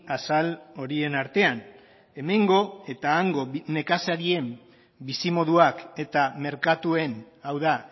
azal horien artean hemengo eta hango nekazarien bizimoduak eta merkatuen hau da